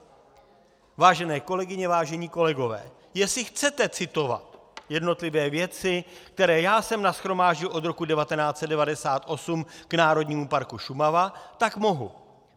Vážené kolegyně, vážení kolegové, jestli chcete citovat jednotlivé věci, které já jsem nashromáždil od roku 1998 k Národnímu parku Šumava, tak mohu.